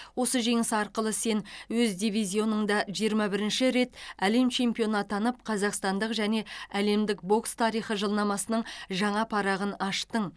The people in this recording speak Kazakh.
осы жеңіс арқылы сен өз дивизионыңда жиырма бірінші рет әлем чемпионы атанып қазақстандық және әлемдік бокс тарихы жылнамасының жаңа парағын аштың